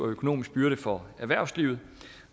økonomisk byrde for erhvervslivet